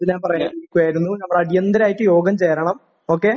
ഞാൻ പറയാൻ ഇരിക്കുവായിരുന്നു.നമ്മൾ അടിയന്തരമായിട്ട് യോഗം ചേരണം. ഓക്കെ?